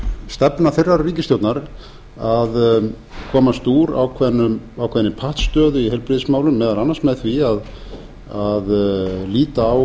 stefna þeirrar ríkisstjórnar að komast úr ákveðinni pattstöðu í heilbrigðismálum meðal annars með því að líta á